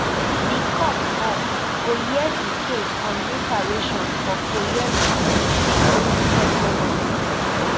di court um go hear di case on reparations for kwoyelo victims separately